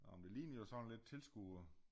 Nå men det ligner jo sådan lidt tilskuere